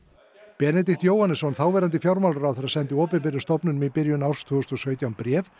Benedikt Jóhannesson þáverandi fjármálaráðherra sendi opinberum stofnunum í byrjun árs tvö þúsund og sautján bréf